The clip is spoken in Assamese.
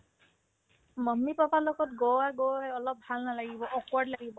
mummy papa ৰ লগত গোৱা গৈ অলপ ভাল নালাগিব awkward লাগিব